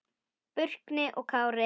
Burkni og Kári.